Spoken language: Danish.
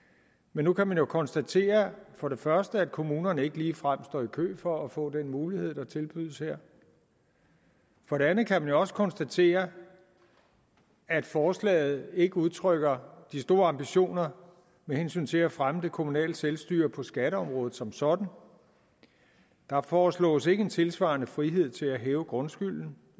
men nu kan man jo konstatere for det første at kommunerne ikke ligefrem står i kø for at få den mulighed der tilbydes her for det andet kan man jo også konstatere at forslaget ikke udtrykker de store ambitioner med hensyn til at fremme det kommunale selvstyre på skatteområdet som sådan der foreslås ikke en tilsvarende frihed til at hæve grundskylden